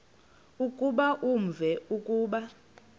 ukuba uvume ukuba